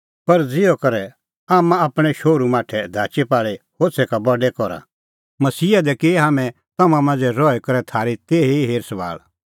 पर ज़िहअ करै आम्मां आपणैं शोहरू माठै धाचीपाल़ी होछ़ै का बडै करा मसीहा दी की हाम्हैं तम्हां मांझ़ै रही करै थारी तेही ई हेर सभाल़